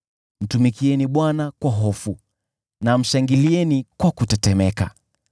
Mtumikieni Bwana kwa hofu na mshangilie kwa kutetemeka.